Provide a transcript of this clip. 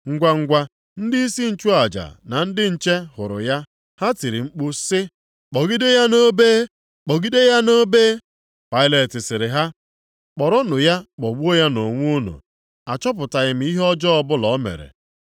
Ngwangwa, ndịisi nchụaja na ndị nche hụrụ ya, ha tiri mkpu sị, “Kpọgide ya nʼobe! Kpọgide ya nʼobe!” Pailet sịrị ha, “Kpọrọnụ ya kpọgbuo ya nʼonwe unu. Achọpụtaghị m ihe ọjọọ ọbụla o mere.”